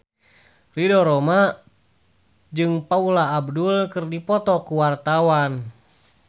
Ridho Roma jeung Paula Abdul keur dipoto ku wartawan